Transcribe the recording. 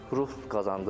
Ruh qazandırdı.